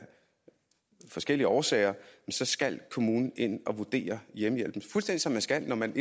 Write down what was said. forskellige årsager så skal kommunen ind og vurdere hjemmehjælpen fuldstændig som de skal når man